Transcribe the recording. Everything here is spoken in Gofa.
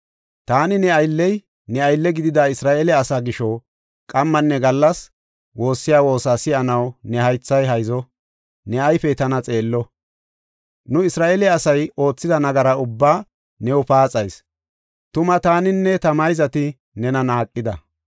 Taani ne aylley, ne aylle gidida Isra7eele asaa gisho qammanne gallas woossiya woosa si7anaw ne haythay hayzo; ne ayfey tana xeello. Nu Isra7eele asay oothida nagaraa ubbaa new paaxayis; tuma taaninne ta mayzati nena naaqida.